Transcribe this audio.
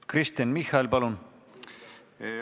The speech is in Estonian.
Kristen Michal, palun!